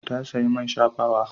Ta sayi man shafawa.